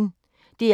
DR P1